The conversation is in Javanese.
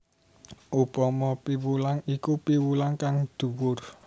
Upama piwulang iku piwulang kang dhuwur